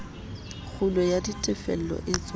kgulo ya ditefello e etswang